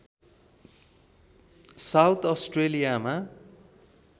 south अस्ट्रेलियामा